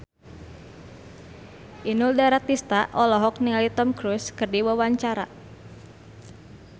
Inul Daratista olohok ningali Tom Cruise keur diwawancara